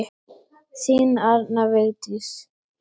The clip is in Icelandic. Þín Arna Vigdís.